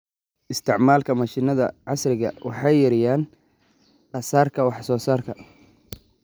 Isticmaalka mashiinada casriga ah waxay yareeyaan kharashka wax soo saarka.